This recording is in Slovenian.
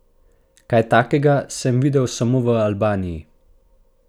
Kaj takega sem videl samo v Albaniji!